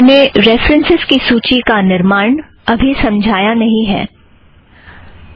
मैं रेफ़रन्सस् की सूची का निर्माण समझाती हूँ